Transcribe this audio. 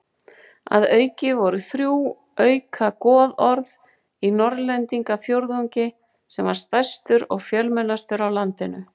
Að auki voru þrjú auka goðorð í Norðlendingafjórðungi sem var stærstur og fjölmennastur á landinu.